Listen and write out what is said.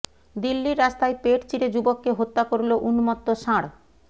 দিল্লির রাস্তায় পেট চিরে যুবককে হত্যা করলো উন্মত্ত ষাঁড়